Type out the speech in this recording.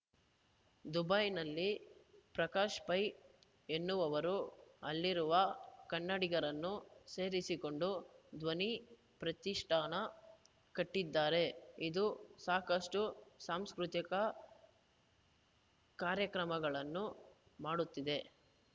ದುಬೈನಲ್ಲಿ ಪ್ರಕಾಶ್‌ ಪೈ ಎನ್ನುವವರು ಅಲ್ಲಿರುವ ಕನ್ನಡಿಗರನ್ನು ಸೇರಿಸಿಕೊಂಡು ಧ್ವನಿ ಪ್ರತಿಷ್ಠಾನ ಕಟ್ಟಿದ್ದಾರೆ ಇದು ಸಾಕಷ್ಟುಸಾಂಸ್ಕೃತಿ ಕಾರ್ಯಕ್ರಮಗಳನ್ನು ಮಾಡುತ್ತಿದೆ